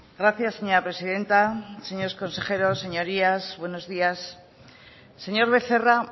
gracias señora presidenta señores consejeros señorías buenos días señor becerra